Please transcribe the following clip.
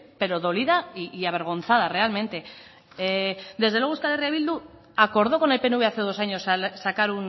pero dolida y avergonzada realmente desde luego euskal herria bildu acordó con el pnv hace dos años sacar